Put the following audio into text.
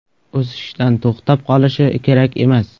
O‘sishdan to‘xtab qolishi kerak emas.